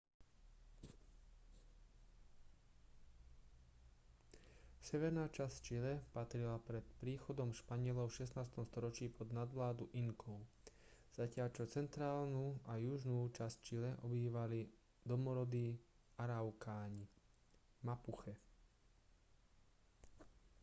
severná časť čile patrila pred príchodom španielov v 16. storočí pod nadvládu inkov zatiaľ čo centrálnu a južnú časť čile obývali domorodí araukáni mapuche